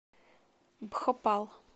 бхопал